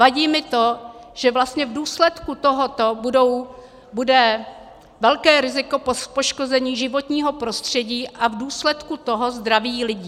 Vadí mi to, že vlastně v důsledku tohoto bude velké riziko poškození životního prostředí a v důsledku toho zdraví lidí.